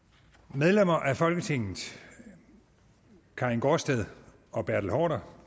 medlemmer af folketinget karin gaardsted og bertel haarder